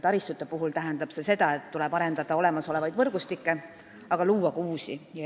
Taristute puhul tähendab see seda, et tuleb arendada olemasolevaid võrgustikke, aga luua ka uusi.